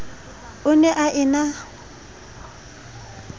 o ne a e na